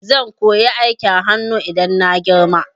Zan koyi aikin hanu idan na girma